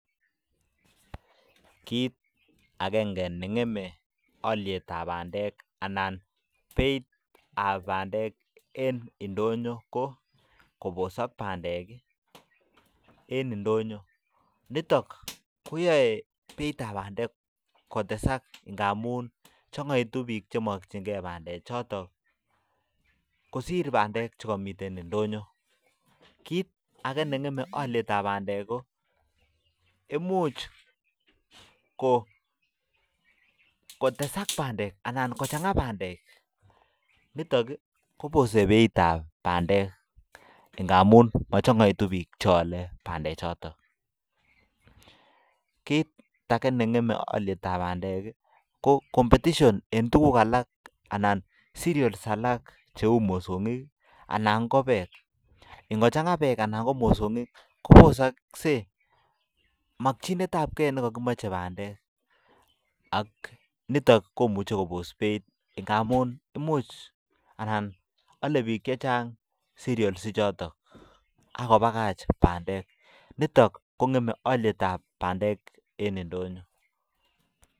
Kiit akenge ne ngeme alyetab bandek anan beitab bandek en indonyo ko kobosok bandek ii en indonyo, nitok koyoe beitab bandek kotesak ngamun changaitu piik che mokchinkei bandechoto kosir bandek che komiten indonyo, kiit ake ne ngeme alyetab bandek ko, imuch kotesak bandek anan kochanga bandek nitok ii kobose beitab bandek ngamun mochongoitu piik che ale bandechoton, kiit ake ne ngeme alyetab bandek ii ko, competition eng tukuk alak anan cerials alak cheu mosongik anan ko beek, ing kochanga beek anan ko mosongik, kobosokse makchinetabkei ne kakimoche bandek ak nitok komuche kobos beit ngamun imuch anan ale piik che chang cerials ichotok ak kobakach bandek, nitok ko ngeme alyetab bandek en indonyo.